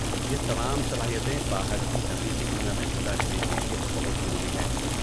یہ تمام صلاحیتیں باہر کی حقیقی دنیا میں زندہ رہنے کے لیے بہت ضروری ہیں۔